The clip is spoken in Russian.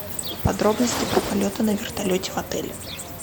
подробности про полеты на вертолете в отеле